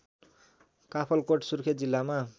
काफलकोट सुर्खेत जिल्लामा